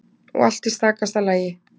Og allt í stakasta lagi.